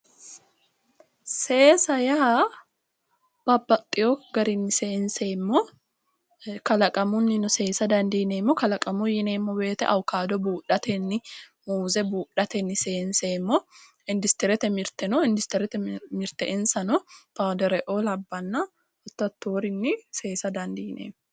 Seesaw yaa babbaxeewo garinni seenseemmo kalaqamunnino seesa dandiineemmo kalaqamuyi yineemmo woyte awukaato buudhatenni muuze buudhatenni seenseemmo industries Mitte buudhatenni seenseemmo kuri pawudero'o lawinorinni seesa dandiineemmo